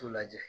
T'u lajɛ